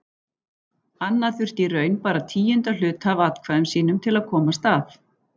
Anna þurfti í raun bara tíunda hluta af atkvæðum sínum til að komast að.